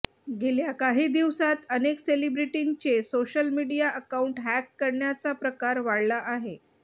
गेल्या काही दिवसांत अनेक सेलिब्रिटींचे सोशल मीडिया अकाऊंट हॅक करण्याचा प्रकार वाढला आहे